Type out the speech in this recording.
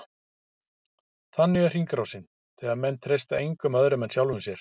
Þannig er hringrásin, þegar menn treysta engum öðrum en sjálfum sér.